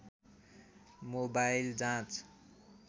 mobile जाँच